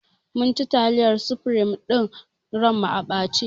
Mun ci taliyar sufrim ɗin ran mu a ɓace